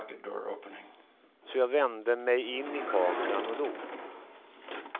Så jag vände mig in i kameran och log.